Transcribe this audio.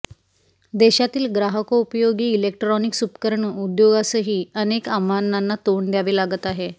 देशातील ग्राहकोपयोगी इलेक्ट्रॉनिक्स उपकरण उद्योगासही अनेक आव्हानांना तोंड द्यावे लागत आहे